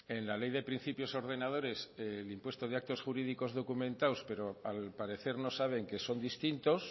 en la ley de principios ordenadores el impuesto de actos jurídicos documentados pero al parecer no saben que son distintos